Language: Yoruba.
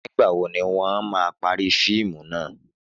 Nígbàwo ni wọ́n máa parí fíìmù náà?